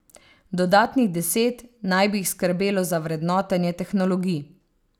Dodatnih deset naj bi jih skrbelo za vrednotenje tehnologij.